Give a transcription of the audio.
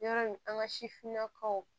Yɔrɔ in an ka sifinnakaw